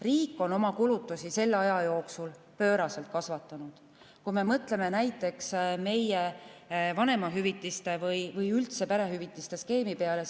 Riik on oma kulutusi selle aja jooksul pööraselt kasvatanud, kui me mõtleme näiteks vanemahüvitiste või üldse perehüvitiste skeemi peale.